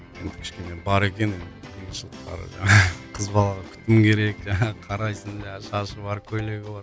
енді кішкене бар екен қиыншылықтары жаңағы қыз балаға күтім керек жаңағы қарайсың жаңағы шашы бар көйлегі бар